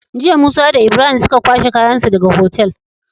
Jiya musa da Ibrahim suka kwashe kayan su daka Otal